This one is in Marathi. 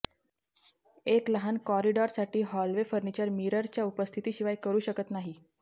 एक लहान कॉरिडॉरसाठी हॉलवे फर्निचर मिररच्या उपस्थितीशिवाय करू शकत नाही